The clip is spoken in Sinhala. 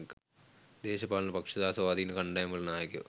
දේශපාලන පක්ෂ සහ ස්වාධීන කණ්ඩායම් වල නායකයෝ